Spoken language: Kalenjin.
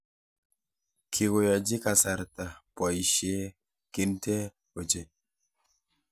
kikoyochi kasarta boisie kintee ochei